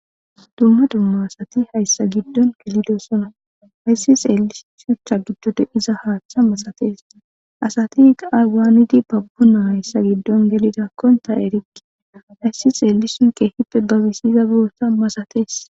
Dumma dumma asati hayssa giddon gelidosona hayssi xeellisutha giddude iza haaththa masatees.asati aywaanidi babbu na hayssa giddon gelidakkonta erikki hayssi xeelison keehippe babisiza boossa masatees.